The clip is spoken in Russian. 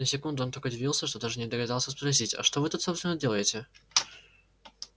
на секунду он так удивился что даже не догадался спросить а что вы тут собственно делаете